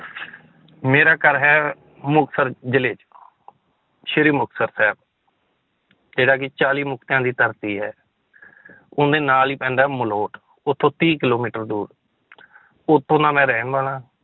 ਮੇਰਾ ਘਰ ਹੈ, ਮੁਕਤਸਰ ਜ਼ਿਲ੍ਹੇ 'ਚ ਸ੍ਰੀ ਮੁਕਤਸਰ ਸਾਹਿਬ ਜਿਹੜਾ ਕਿ ਚਾਲੀ ਮੁਕਤਿਆਂ ਦੀ ਧਰਤੀ ਹੈ ਉਹਦੇ ਨਾਲ ਹੀ ਪੈਂਦਾ ਹੈ ਮਲੋਠ ਉੱਥੋਂ ਤੀਹ ਕਿੱਲੋਮੀਟਰ ਦੂਰ ਉੱਥੋਂ ਦਾ ਮੈਂ ਰਹਿਣ ਵਾਲਾ